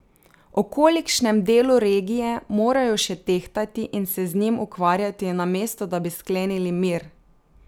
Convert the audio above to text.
O kolikšnem delu regije morajo še tehtati in se z njim ukvarjati, namesto da bi sklenili mir?